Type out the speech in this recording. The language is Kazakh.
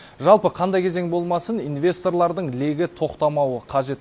жалпы қандай кезең болмасын инвесторлардың легі тоқтамауы қажет